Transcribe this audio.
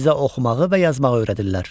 Onlar bizə oxumağı və yazmağı öyrədirlər.